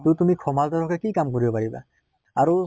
তʼ তুমি সমাজৰ হৈ কি কাম কৰিব পাৰিবা? আৰু